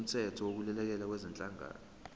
somthetho wokulekelela kwezenhlalakahle